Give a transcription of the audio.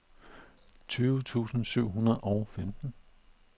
tyve tusind syv hundrede og femten